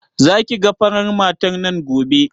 Za ki ga farar matar nan gobe?